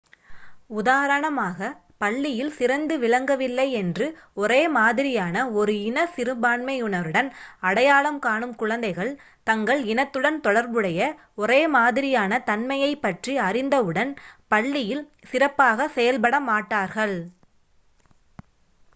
உதாரணமாக பள்ளியில் சிறந்து விளங்கவில்லை என்று ஒரே மாதிரியான ஒரு இன சிறுபான்மையினருடன் அடையாளம் காணும் குழந்தைகள் தங்கள் இனத்துடன் தொடர்புடைய ஒரே மாதிரியான தன்மையைப் பற்றி அறிந்தவுடன் பள்ளியில் சிறப்பாகச் செயல்பட மாட்டார்கள்